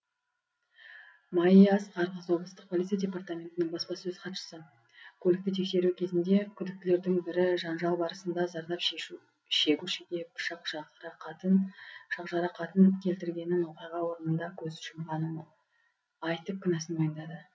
майя асқарқызы облыстық полиция департаментінің баспасөз хатшысы көлікті тексеру кезінде күдіктілердің бірі жанжал барысында зардап шегушіге пышақ жарақатын келтіргенін оқиға орнында көз жұмғанын айтып кінәсін мойындады